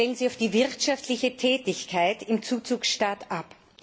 Stellen Sie auf die wirtschaftliche Tätigkeit im Zuzugstaat